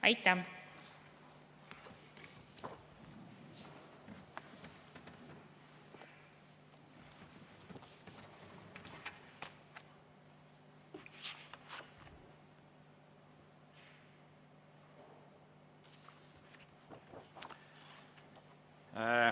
Aitäh!